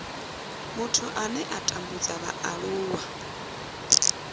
muthu ane a tambudza vhaaluwa